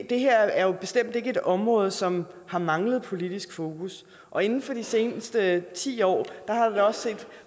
det her er jo bestemt ikke et område som har manglet politisk fokus og inden for de seneste ti år